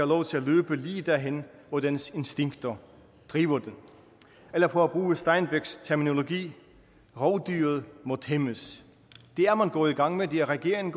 lov til at løbe lige derhen hvor dens instinkter driver den eller for at bruge steinbecks terminologi rovdyret må tæmmes det er man gået i gang med det er regeringen